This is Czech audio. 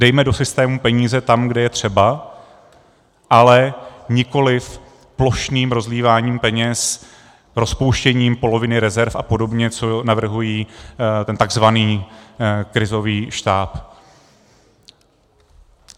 Dejme do systému peníze tam, kde je třeba, ale nikoliv plošným rozlíváním peněz, rozpouštěním poloviny rezerv a podobně, co navrhuje ten tzv. krizový štáb.